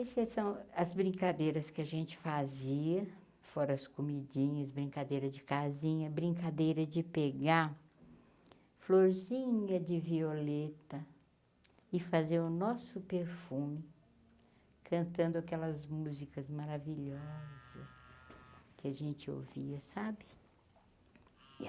Esses são as brincadeiras que a gente fazia, fora as comidinhas, brincadeira de casinha, brincadeira de pegar, florzinha de violeta e fazer o nosso perfume, cantando aquelas músicas maravilhosas que a gente ouvia, sabe?